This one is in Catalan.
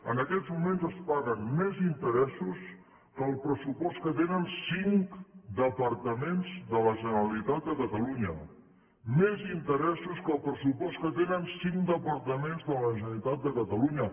en aquests moments es paguen més interessos que el pressupost que tenen cinc departaments de la generalitat de catalunya més interessos que el pressupost que tenen cinc departaments de la generalitat de catalunya